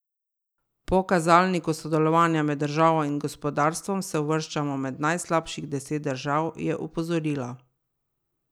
Po kazalniku sodelovanja med državo in gospodarstvom se uvrščamo med najslabših deset držav, je opozorila.